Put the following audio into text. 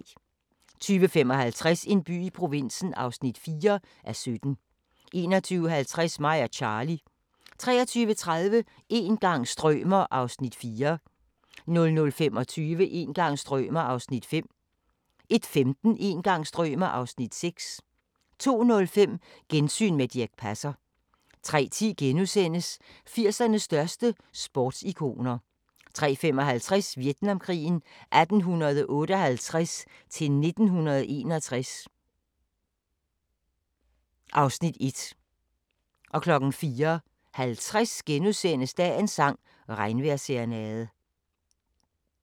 20:55: En by i provinsen (4:17) 21:50: Mig og Charly 23:30: Een gang strømer ... (Afs. 4) 00:25: Een gang strømer ... (Afs. 5) 01:15: Een gang strømer ... (Afs. 6) 02:05: Gensyn med Dirch Passer 03:10: 80'ernes største sportsikoner * 03:55: Vietnamkrigen 1858-1961 (Afs. 1) 04:50: Dagens sang: Regnvejrsserenade *